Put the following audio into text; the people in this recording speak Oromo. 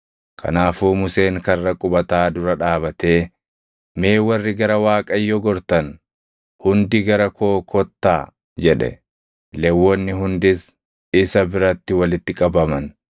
Kanaafuu Museen karra qubataa dura dhaabatee, “Mee warri gara Waaqayyo gortan hundi gara koo kottaa” jedhe. Lewwonni hundis isa biratti walitti qabaman.